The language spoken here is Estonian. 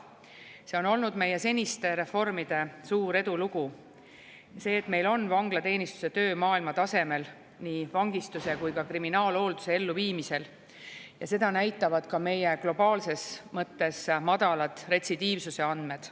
See on olnud meie seniste reformide suur edulugu – see, et meil on vanglateenistuse töö maailma tasemel nii vangistuse kui ka kriminaalhoolduse elluviimisel, seda näitavad ka meie globaalses mõttes madalad retsidiivsuse andmed.